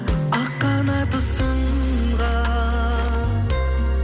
ақ қанаты сынған